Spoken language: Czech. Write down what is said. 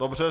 Dobře.